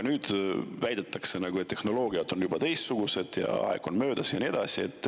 Nüüd väidetakse, et tehnoloogiad on juba teistsugused ja aeg on edasi läinud ja nii edasi.